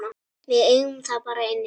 Við eigum það bara inni.